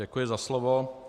Děkuji za slovo.